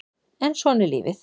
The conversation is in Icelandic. En svona er lífið